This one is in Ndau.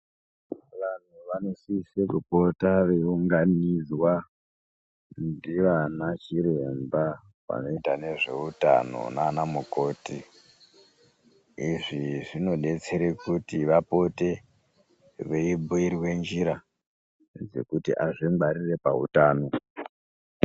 Vantu vanosise kuoota veiunganidzwa ndivana chiremba vanoite zveutano nanamukoti izvi zvinodetsere kuti vapote veibhuirwe njira yekuti azvingwarire pautano.